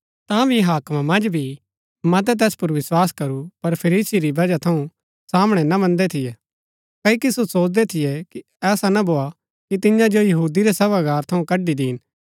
तांभी हाकमा मन्ज भी मतै तैस पुर विस्वास करू पर फरीसी री बजह थऊँ सामणै ना मन्दै थियै क्ओकि सो सोचदै थियै कि ऐसा ना भोआ कि तियां जो यहूदी रै सभागार थऊँ कड्ड़ी दीन